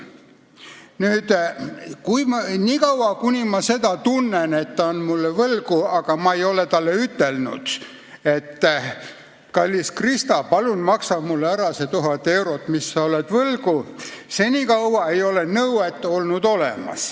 Nii kaua, kuni ma seda tunnen, et ta on mulle võlgu, aga ma ei ole talle ütelnud, et kallis Krista, palun maksa mulle ära see 1000 eurot, mis sa oled mulle võlgu, senikaua ei ole olemas nõuet.